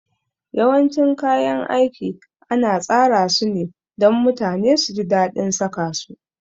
Yawancin kayan aiki ana tsara sune dan mutane suji dadin saka su